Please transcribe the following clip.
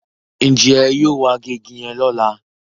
Njé yóò wá gé ìgi yen lọla?